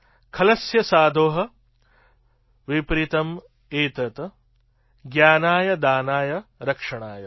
ખલસ્ય સાધો વિપરીતમ્ એતત્ જ્ઞાનાય દાનાય ચ રક્ષણાય